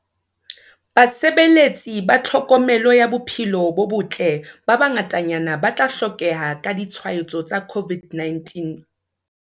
Basebeletsi ba tlhokomelo ya bophelo bo botle ba bangatanyana ba tla hlokeha ha ditshwaetso tsa COVID-19o